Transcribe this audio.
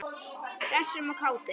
Hressum og kátum.